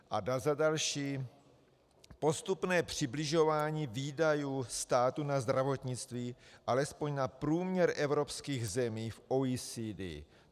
A za další, postupné přibližování výdajů státu na zdravotnictví alespoň na průměr evropských zemí v OECD.